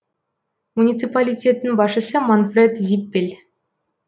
муниципалитеттің басшысы манфред зиппель